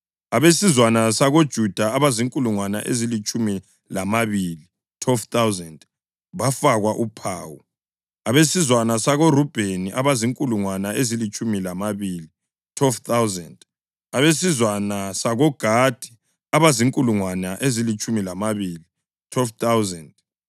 Abesizwana sakoJuda abazinkulungwane ezilitshumi lambili (12,000) bafakwa uphawu, abesizwana sakoRubheni abazinkulungwane ezilitshumi lambili (12,000), abesizwana sakoGadi abazinkulungwane ezilitshumi lambili (12,000),